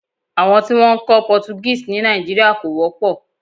Àwọn tí wọn ń kọ́ Portuguese ní Nàìjíríà kò wọ́pọ̀.